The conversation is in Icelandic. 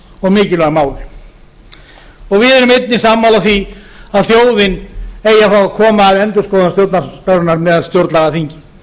og mikilvæg mál við erum einnig sammála því að þjóðin eigi að fá að koma að endurskoðun stjórnarskrárinnar með stjórnlagaþingi um